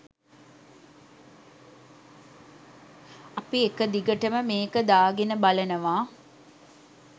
අපි එක දිගටම මේක දාගෙන බලනවා